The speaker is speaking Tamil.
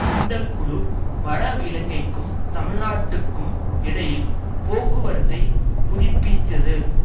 இந்த குழு வட இலங்கைக்கும் தமிழ் நாட்டுக்கும் இடையில் போக்குவரத்தை புதிப்பீத்தது